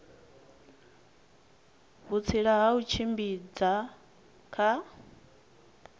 vhutsila ha u tshimbidza kha